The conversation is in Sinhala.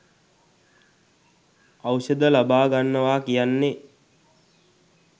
ඖෂධ ලබා ගන්නවා කියන්නේ